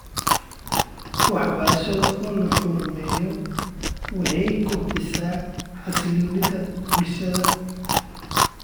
Waxbarashada oo la horumariyo waxay kobcinaysaa xasilloonida bulshada .